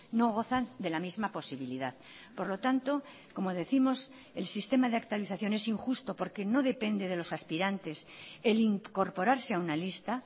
no gozan de la misma posibilidad por lo tanto como décimos el sistema de actualización es injusto porque no depende de los aspirantes el incorporarse a una lista